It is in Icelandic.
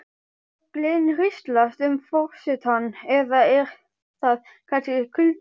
Gleðin hríslast um forsetann eða er það kannski kuldinn?